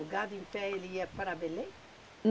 O gado em pé ele ia para Belém?